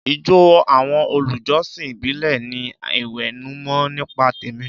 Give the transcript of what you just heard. Ìjọ àwọn olùjọsìn ìbílẹ̀ ń ní ìwẹ̀nùmọ́ nípa tẹ̀mí.